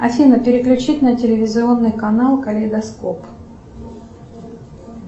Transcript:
афина переключить на телевизионный канал калейдоскоп